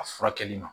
A furakɛli ma